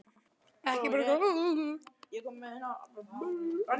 Andri Ólafsson: Hvers konar aðkomu?